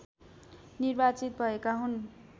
निर्वाचित भएका हुन्